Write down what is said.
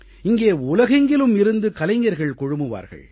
இங்கே உலகெங்கிலும் இருந்தும் கலைஞர்கள் குழுமுவார்கள்